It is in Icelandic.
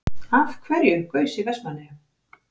Af hverju gaus í Vestmannaeyjum?